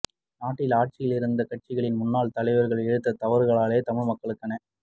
நாட்டில் ஆட்சியில் இருந்து கட்சிகளின் முன்னாள் தலைவர்கள் இழைத்த தவறுகளாலேயே தமிழ் மக்களுக்கான